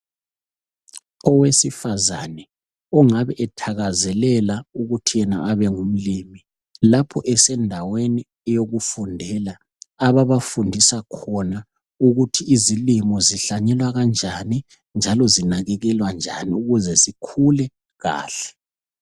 Owesifazane ongawe ethakazelela okuthi yena abengumlimi. Lapho esendaweni yokufundela, ababafundisa khona ukuthi izilimo zihlanyelwa kanjani njalo zinakekelwa njani ukuze zikule kahle.